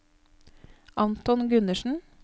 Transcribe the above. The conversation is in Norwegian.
Anton Gundersen